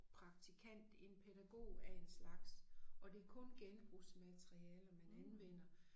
Praktikant en pædagog af en slags og det kun genbrugsmaterialer man anvender